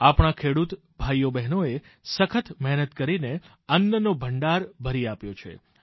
આપણા ખેડૂત ભાઈબહેનોએ સખત મહેનત કરીને અન્નનો ભંડાર ભરી આપ્યો છે